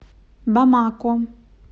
бамако